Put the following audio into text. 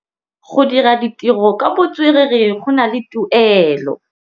Go dira ditirô ka botswerere go na le tuelô.